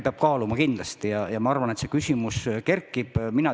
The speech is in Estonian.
Mina arvan, et see küsimus kerkib.